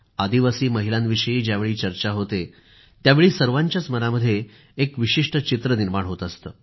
आदिवासी महिलांविषयी ज्यावेळी चर्चा होते त्यावेळी सर्वांच्या मनामध्ये एक विशिष्ट चित्र निर्माण होत असतं